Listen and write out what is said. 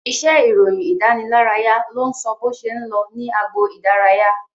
Iṣẹ́ ìròyìn ìdánilárayá ló ń sọ bó ṣe ń lọ ní agbo idaraya